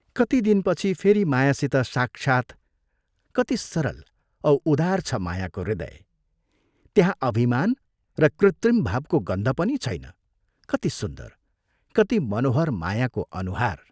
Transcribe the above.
कति दिनपछि फेरि मायासित साक्षात्, कति सरल औ उदार छ मायाको हृदय, त्यहाँ अभिमान र कृत्रिम भावको गन्ध पनि छैन कति सुन्दर, कति मनोहर मायाको अनुहार!